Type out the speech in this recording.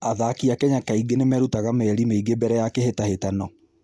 Athaki a Kenya kaingĩ nĩ merutaga mĩeri mĩingĩ mbere ya kĩhĩtahĩtano.